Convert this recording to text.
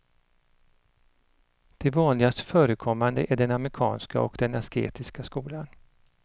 De vanligast förekommande är den amerikanska och den asketiska skolan.